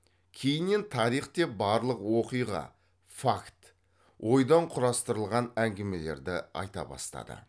кейіннен тарих деп барлық оқиға факт ойдан құрастырылған әңгімелерді айта бастады